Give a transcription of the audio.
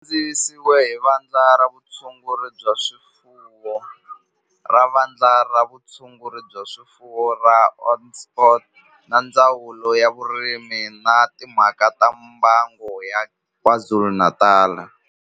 Xi kandziyisiwe hi Vandla ra Vutshunguri bya swifuwo ra Vandla ra Vutshunguri bya swifuwo ra Onderstepoort na Ndzawulo ya Vurimi na Timhaka ta Mbango ya KwaZulu-Natal